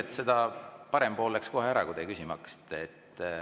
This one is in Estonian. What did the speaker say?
Huvitav, et parem pool läks kohe ära, kui teie küsima hakkasite.